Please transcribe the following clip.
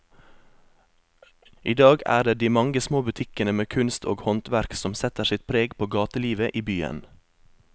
I dag er det de mange små butikkene med kunst og håndverk som setter sitt preg på gatelivet i byen.